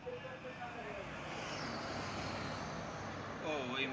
ও ওইও